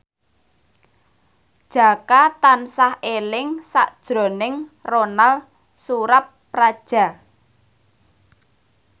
Jaka tansah eling sakjroning Ronal Surapradja